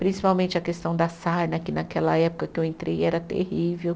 Principalmente a questão da sarna, que naquela época que eu entrei era terrível.